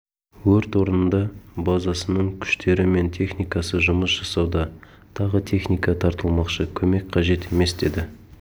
өрт орнында базасының күштері мен техникасы жұмыс жасауда тағы техника тартылмақшы көмек қажет емес деді